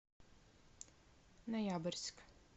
ноябрьск